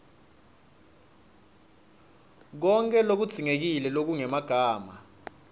konkhe lokudzingekile lokungemagama